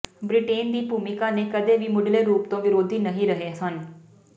Britain ਦੀ ਭੂਮਿਕਾ ਨੇ ਕਦੇ ਵੀ ਮੁਢਲੇ ਰੂਪ ਤੋਂ ਵਿਰੋਧੀ ਨਹੀਂ ਰਹੇ ਹਨ